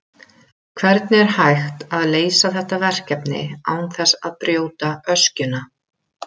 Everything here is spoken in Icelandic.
Hvernig er hægt að leysa þetta verkefni án þess að brjóta öskjuna?